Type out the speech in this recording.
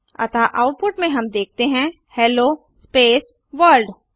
अतः आउटपुट में हम देखते हैं हेलो स्पेस वर्ल्ड